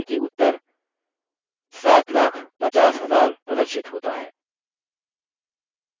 ध्यान दें कि उत्तर 750000 प्रदर्शित होता है